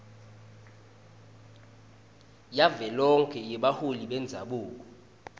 yavelonkhe yebaholi bendzabuko